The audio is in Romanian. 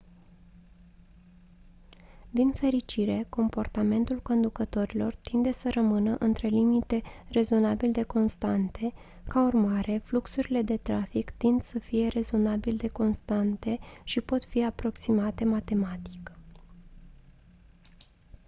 din fericire comportamentul conducătorilor tinde să rămână între limite rezonabil de constante ca urmare fluxurile de trafic tind să fie rezonabil de constante și pot fi aproximate matematic